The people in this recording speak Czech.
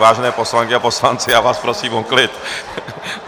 Vážené poslankyně a poslanci, já vás prosím o klid.